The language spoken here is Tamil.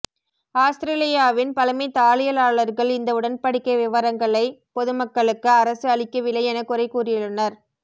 ஆஸ்திரேலியாவின் பழமை தாளியலாளர்கள் இந்த உடன்படிக்கை விவரங்களை பொதுமக்களுக்கு அரசு அளிக்கவில்லை என குறை கூறியுள்ளனர்